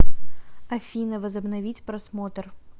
афина возобновить просмотр